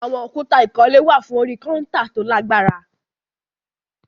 Àwọn òkúta ìkọ́lé wà fún orí kọ́ńtà tó lágbára